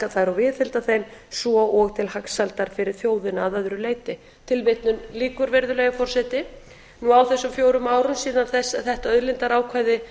þær og viðhalda þeim svo og til hagsældar fyrir þjóðina að öðru leyti á þessum fjórum árum síðan þetta auðlindaákvæði